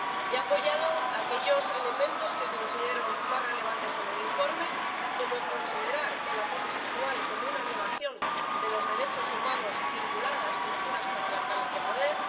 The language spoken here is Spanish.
He apoyado aquellos elementos que considero más relevantes en el informe, como considerar el acoso sexual como una violación de los derechos humanos vinculada a estructuras patriarcales de poder